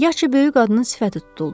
Yaşca böyük qadının sifəti tutuldu.